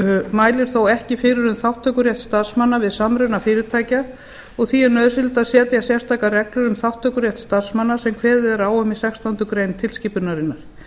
mælir þó ekki fyrir um þátttökurétt starfsmanna við samruna fyrirtækja og því er nauðsynlegt að setja sérstakar reglur um þátttökurétt starfsmanna sem kveðið er á um í sextándu grein tilskipunarinnar